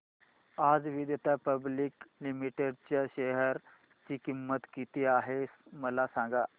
आज Vedanta public limited च्या share ची किंमत किती आहे मला सांगा